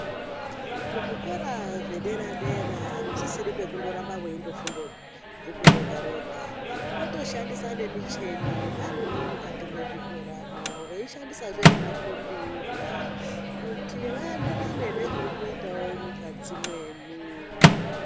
Kuzvikora zvedera dera akusisiri kwekundoramba weindofunde bhuku rega rega otoshandisa nemicheni varimwo mukati mwezvikora veishandisazve nemakombiyuta kuti vaenderanewo nezviri kuita nyika dzimweni.